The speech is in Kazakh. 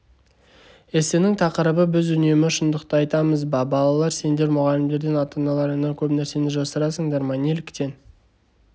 эссенің тақырыбы біз үнемі шындықты айтамыз ба балалар сендер мұғалімдерден ата-аналарыңнан көп нәрсені жасырасыңдар ма неліктен